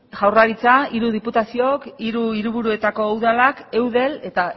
jaurlaritza hiru diputazioak hiru hiriburuetako udalak eudel eta